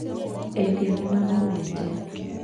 Endia nĩ magomete